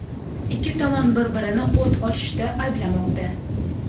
Ikki tomon bir-birini o‘t ochishda ayblamoqda.